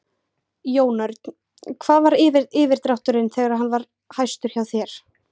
Jón Örn: Hvað var yfirdrátturinn þegar hann var hæstur hjá þér?